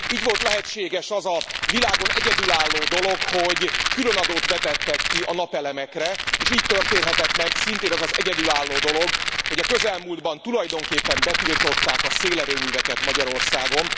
Így volt lehetséges az a világon egyedülálló dolog, hogy különadót vetettek ki a napelemekre, és így történhetett meg szintén az az egyedülálló dolog, hogy a közelmúltban tulajdonképpen betiltották a szélerőműveket Magyarországon.